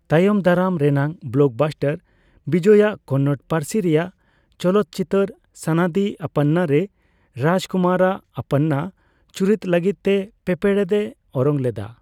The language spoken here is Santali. ᱛᱟᱭᱚᱢ ᱫᱟᱨᱟᱢ ᱨᱮᱱᱟᱜ ᱵᱞᱚᱠᱵᱟᱥᱴᱟᱨ, ᱵᱤᱡᱚᱭ ᱟᱜ ᱠᱚᱱᱱᱚᱲ ᱯᱟᱹᱨᱥᱤ ᱨᱮᱭᱟᱜ ᱪᱚᱞᱚᱛᱪᱤᱛᱟᱹᱨ ᱥᱟᱱᱟᱫᱤ ᱟᱯᱯᱟᱱᱱᱟ ᱨᱮ ᱨᱟᱡᱽᱠᱩᱢᱟᱨ ᱟᱜ ᱟᱯᱯᱟᱱᱱᱟ ᱪᱩᱨᱤᱛ ᱞᱟᱹᱜᱤᱫ ᱛᱮ ᱯᱮᱸᱯᱲᱮᱫ ᱮ ᱚᱨᱚᱝ ᱞᱮᱫᱟ ᱾